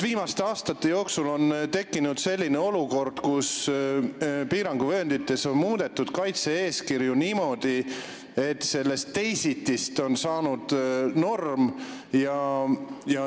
Viimastel aastatel on tekkinud olukord, kus piiranguvööndites on muudetud kaitse-eeskirju niimoodi, et sellest "teisitist" on saanud norm.